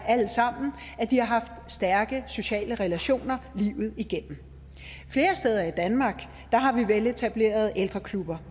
at de har haft stærke sociale relationer livet igennem flere steder i danmark har vi veletablerede ældreklubber